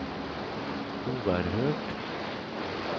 oerhört